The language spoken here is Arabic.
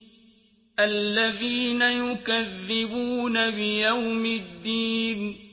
الَّذِينَ يُكَذِّبُونَ بِيَوْمِ الدِّينِ